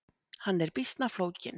Hann er býsna flókinn.